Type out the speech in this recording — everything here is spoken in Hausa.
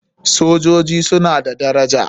Sojoji suna da daraja.